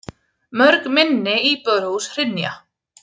Mörg minni íbúðarhús hrynja.